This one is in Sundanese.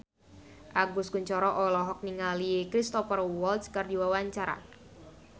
Agus Kuncoro olohok ningali Cristhoper Waltz keur diwawancara